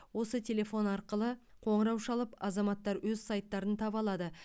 осы телефон арқылы қоңырау шалып азаматтар өз сайттарын таба алады